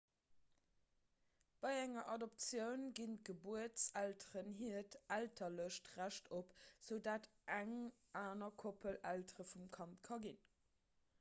bei enger adoptioun ginn d'gebuertselteren hiert elterlecht recht op esoudatt eng aner koppel eltere vum kand ka ginn